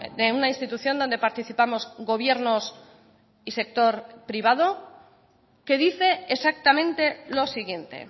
de una institución donde participamos gobiernos y sector privado que dice exactamente lo siguiente